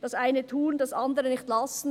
Das eine tun, das andere nicht lassen.